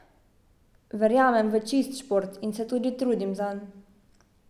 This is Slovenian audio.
Verjamem v čist šport in se tudi trudim zanj.